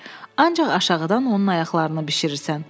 ancaq aşağıdan onun ayaqlarını bişirirsən.